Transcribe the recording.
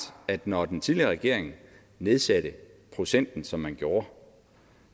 at når den tidligere regering nedsatte procenten som man gjorde